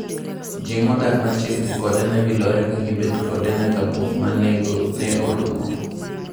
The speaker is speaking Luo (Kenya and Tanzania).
Ji modak machiegini kode ne wilore ka gibet kode nyaka buok ma nego ne orumo.